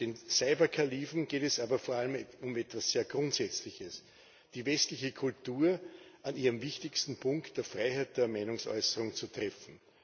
Den Cyberkalifen geht es aber vor allem um etwas sehr Grundsätzliches, nämlich die westliche Kultur an ihrem wichtigsten Punkt, der Freiheit der Meinungsäußerung, zu treffen.